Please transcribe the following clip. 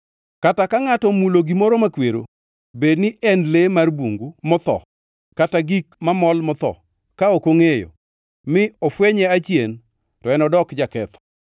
“ ‘Kata ka ngʼato omulo gimoro makwero, bed ni en le mar bungu motho kata gik mamol motho, ka ok ongʼeyo, mi ofwenye achien, to enodok jaketho.